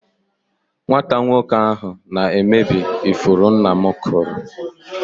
Nwata nwoke ahụ na-emebi ifuru nna m kụrụ.